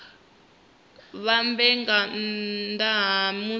mbadelo nga nnda ha musi